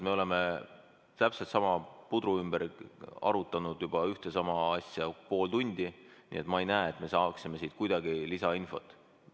Me oleme täpselt sama pudru ümber arutanud juba ühte ja sama asja pool tundi, ma ei näe, et me saaksime kuidagi lisainfot.